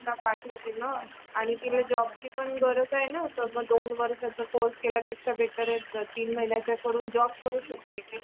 पाठवते न आणि तिला जॉब ची पण गरज आहे न दोन वर्षांचा कोर्से केल्यापेक्षा बेटर तीन महिन्यांचा कोर्स करून जॉब करू शकते ती